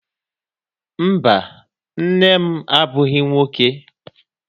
Mba, nne m abụghị nwoke.